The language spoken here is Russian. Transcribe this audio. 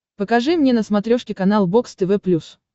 покажи мне на смотрешке канал бокс тв плюс